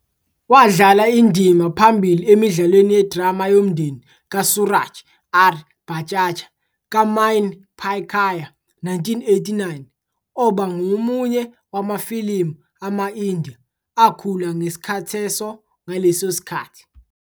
wadlala indima phambili emidlalweni yedrama yomndeni kaSooraj R. Barjatya kaMaine Pyar Kiya, 1989, oba ngomunye wamafilimu ama-India akhula ngesikhatheso ngaleso sikhathi.